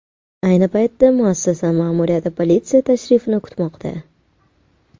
Ayni paytda muassasa ma’muriyati politsiya tashrifini kutmoqda.